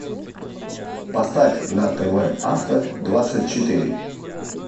поставь на тв авто двадцать четыре